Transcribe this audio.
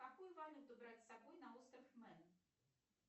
какую валюту брать с собой на остров мэн